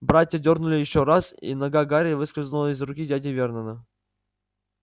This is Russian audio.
братья дёрнули ещё раз и нога гарри выскользнула из руки дяди вернона